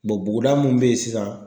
buguda mun bɛ ye sisan.